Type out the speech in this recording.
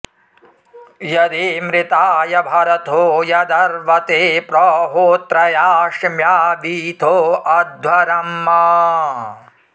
यदी॑मृ॒ताय॒ भर॑थो॒ यदर्व॑ते॒ प्र होत्र॑या॒ शिम्या॑ वीथो अध्व॒रम्